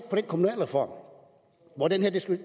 den kommunalreform